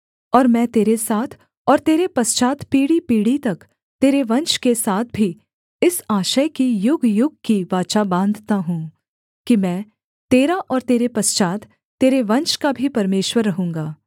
और मैं तेरे साथ और तेरे पश्चात् पीढ़ीपीढ़ी तक तेरे वंश के साथ भी इस आशय की युगयुग की वाचा बाँधता हूँ कि मैं तेरा और तेरे पश्चात् तेरे वंश का भी परमेश्वर रहूँगा